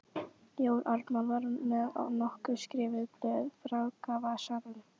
Jón Ármann var með nokkur skrifuð blöð í frakkavasanum.